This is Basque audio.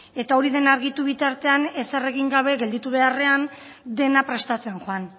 eta hori den argitu bitartean ezer egin gabe gelditu beharrean dena prestatzen joan